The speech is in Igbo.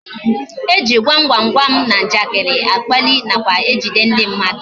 E ji gwam gwam gwam na njakịrị akpalị nakwa ejide ndị mmadụ